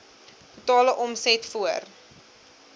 totale omset voor